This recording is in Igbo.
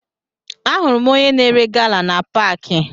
Ahụrụ m onye na-ere gala na paakị